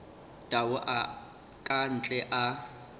tau a ka ntle a